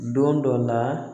Don dɔ la